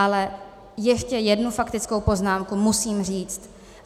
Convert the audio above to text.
Ale ještě jednu faktickou poznámku musím říct.